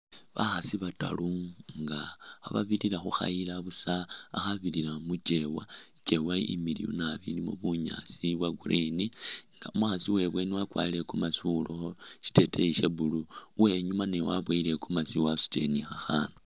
Bakhasi bataru nga khababilira khukhayila buusa khakhabirila muchewa ichewa imiliyu naabi ilimo bunyaasi bwa'green nga umukhaasi uwebweni wakwarile i'gomezi uwulakho shiteteyi sha'blue, uwenyuma naye waboyile i'gomezi wasutile ni khakhana